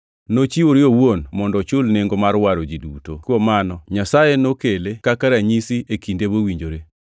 Nochiwore owuon mondo ochul nengo mar waro ji duto. Kuom mano Nyasaye nokele kaka ranyisi e kinde mowinjore.